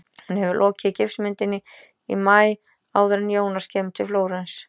Hún hefur lokið gifsmyndinni í maí- áður en Jónas kemur til Flórens.